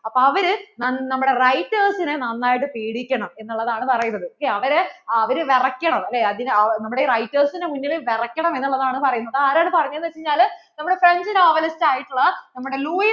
അപ്പോൾ അവര് നമ്മടെ writers നെ നന്നായിട്ട് പേടിക്കണം എന്ന് ഉള്ളതാണ് പറയുന്നത് ok അവർ വിറക്കണം നമ്മുടെ writers നു മുന്നിൽ വിറക്കണം എന്നുള്ളതാണ് പറയുന്നത് ആരാണ് പറയുന്നത് എന്ന്വച്ചാല്‍ നമ്മുടെ Frenchnovelist ആയിട്ട് ഉള്ള നമ്മുടെ